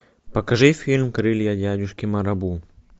покажи фильм крылья дядюшки марабу